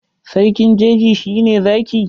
Sarkin jeji shi ne Zaki.